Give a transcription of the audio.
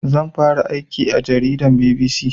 Zan fara aikin jarida a BBC